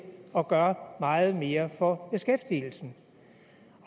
at gøre meget mere for beskæftigelsen